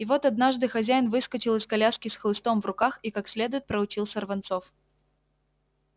и вот однажды хозяин выскочил из коляски с хлыстом в руках и как следует проучил сорванцов